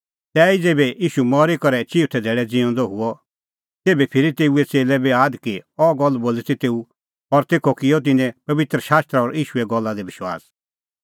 तैहीता ज़ेभै ईशू मरी करै चिऊथै धेल्लै ज़िऊंदअ हुअ तेभै फिरी तेऊए च़ेल्लै बी आद कि अह गल्ल बोली ती तेऊ और तेखअ किअ तिन्नैं पबित्र शास्त्र और ईशूए गल्ला दी विश्वास